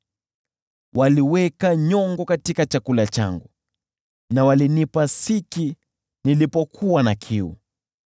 Waliweka nyongo katika chakula changu na walinipa siki nilipokuwa na kiu.